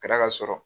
Kɛra ka sɔrɔ